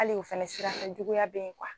Hali o fɛnɛ sirakan juguya bɛ ye